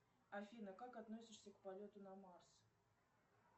афина как относишься к полету на марс